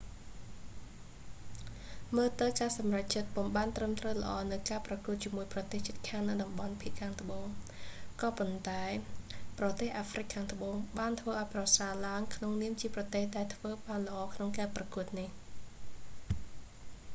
មើលទៅការសម្រេចចិត្តពុំបានត្រឹមត្រូវល្អនៅការប្រកួតជាមួយប្រទេសជិតខាងនៅតំបន់ភាគត្បូង ក៏ប៉ុន្តែ ប្រទេសអាហ្វ្រិកខាងត្បូង បានធ្វើឲ្យប្រសើរឡើងក្នុនាមជាប្រទេសដែលធ្វើបានល្អក្នុងការប្រកួតនេះ